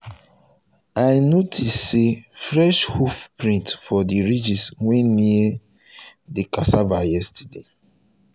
i notice say fresh hoof print for the ridges wey near near the cassava yesterday